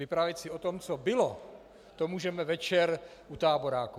Vyprávět si o tom, co bylo, to můžeme večer u táboráku.